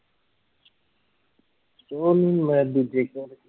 ਉਹਨੂੰ ਮੈਂ ਵੀ ਦੇਖਿਆ